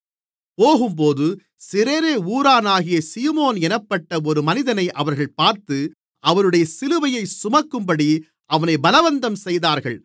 போகும்போது சிரேனே ஊரானாகிய சீமோன் என்னப்பட்ட ஒரு மனிதனை அவர்கள் பார்த்து அவருடைய சிலுவையைச் சுமக்கும்படி அவனைப் பலவந்தம் செய்தார்கள்